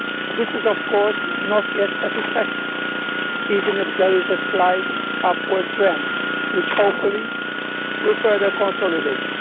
This is of course not yet satisfactory, even if there is a slight upward trend, which hopefully we will further consolidated.